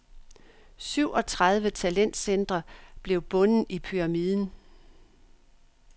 Syvogtredive talentcentre blev bunden i pyramiden.